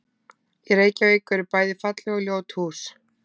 Í Reykjavík eru bæði falleg og ljót hús.